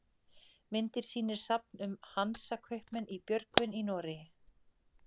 myndin sýnir safn um hansakaupmenn í björgvin í noregi